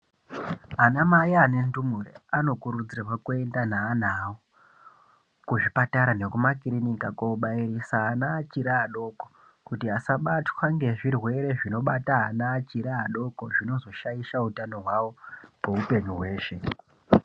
Ana mai ane ndumure anokurudzirwa kuenda neana awo kuzvipatara nekumakirinika koobairisa ana achiri adoko kuitira kuti asabatwa ngezvirwere zvinobata ana achiri adoko zvinozoshaisha utano hwawo kweupenyu hweshe.